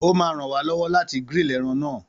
Ó máa ràn wá lọ́wọ́ láti grill ẹran ńà.